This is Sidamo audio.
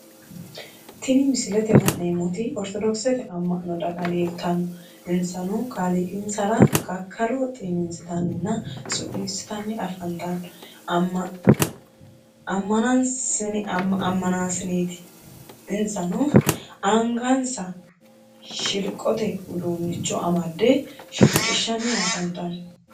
Tinni misilete la'neemoti ortodokisete ama'no daga leelishano insano kaaliiqinsara kakkalo xiniinsitanninna su'niisitanni afantano amanaasineeti insano angansa shilqote uduunnicho amade shilqisanni afantano.